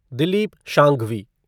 Dilip Sanghvi